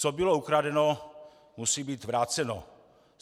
Co bylo ukradeno, musí být vráceno.